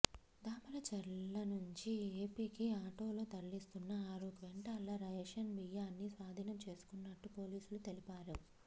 దామరచర్ల నుంచి ఎపికి ఆటోలో తరలిస్తున్న ఆరు క్వింటాళ్ల రేషన్ బియ్యాన్ని స్వాధీనం చేసుకున్నట్టు పోలీసులు తెలిపారు